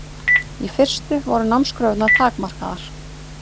Í fyrstu voru námskröfurnar takmarkaðar.